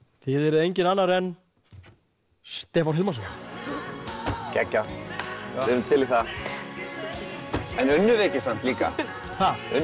þið eruð enginn annar en Stefán Hilmarsson geggjað við erum til í það en unnu þau ekki samt líka ha unnu þau